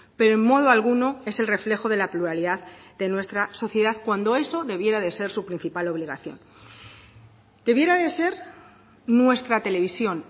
pero en modo alguno es el reflejo de la pluralidad de nuestra sociedad cuando eso debiera de ser su principal obligación debiera de ser nuestra televisión